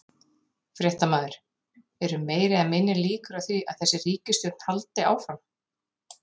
Fréttamaður: Eru meiri eða minni líkur á því að þessi ríkisstjórn haldi áfram?